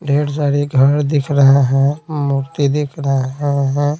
ढेर सारे घर दिख रहे हैं मूर्ति दिख रहे हैं।